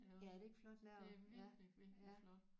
Ja er det ikke flot lavet ja ja